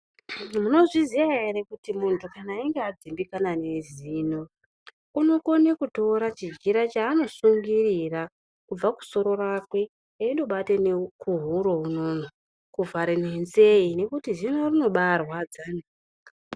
Munozviziya ere kuti muntu achinge adzimbikana ngezino unokona kutora chijira chaanosungirira kubva kusoro rakwe eindobata nekuhuro unono kuvhara nenzee ngekuti zino rinobaarwadza.